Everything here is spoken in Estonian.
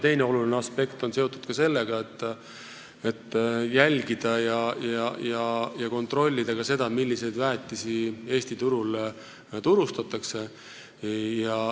Teine oluline aspekt on seotud sellega, et tuleb jälgida ja kontrollida ka seda, milliseid väetisi Eesti turul turustatakse.